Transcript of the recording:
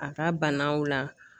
A ka banaw la